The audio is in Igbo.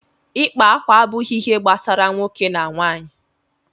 ịkpa akwa abụghị ihe gbasara nwoke na nwanyị